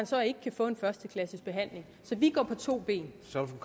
så ikke kan få en førsteklasses behandling så vi går på to ben